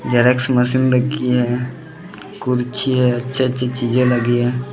Xerox machine रखी हैं कुर्सी हैं अच्छी अच्छी चीज़े लगी हैं।